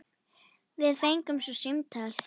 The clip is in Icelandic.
Við fengum svo símtal.